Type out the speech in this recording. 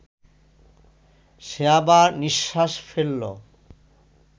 সে আবার নিঃশ্বাস ফেলল